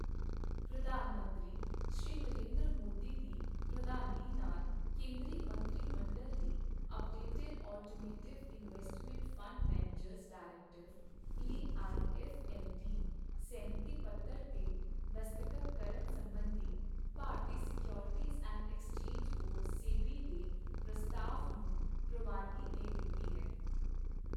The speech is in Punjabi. ਪ੍ਰਧਾਨ ਮੰਤਰੀ, ਸ਼੍ਰੀ ਨਰਿੰਦਰ ਮੋਦੀ ਦੀ ਪ੍ਰਧਾਨਗੀ ਨਾਲ ਕੇਂਦਰੀ ਮੰਤਰੀ ਮੰਡਲ ਨੇ updated alternative investment fund managers directive A I F M D ਸਹਿਮਤੀ ਪੱਤਰ ਤੇ ਦਸਤਖ਼ਤ ਕਰਨ ਸਬੰਧੀ ਭਾਰਤੀ securities and exchange board SEBI ਦੇ ਪ੍ਰਸਤਾਵ ਨੂੰ ਪ੍ਰਵਾਨਗੀ ਦੇ ਦਿੱਤੀ ਹੈ।